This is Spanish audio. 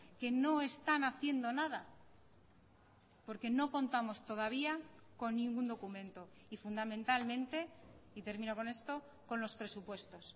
que no están haciendo nada porque no contamos todavía con ningún documento y fundamentalmente y termino con esto con los presupuestos